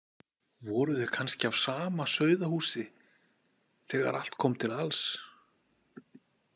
Voru þau kannski af sama sauðahúsi þegar allt kom til alls?